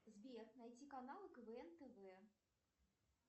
сбер найти каналы квн тв